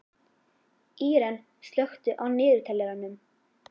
Íren, slökktu á niðurteljaranum.